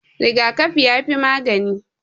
Rigakafi yafi magani.